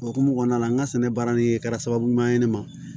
O hukumu kɔnɔna la n ka sɛnɛ baara nin kɛra sababu ɲuman ye ne ma